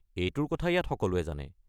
এইটোৰ কথা ইয়াত সকলোৱে জানে।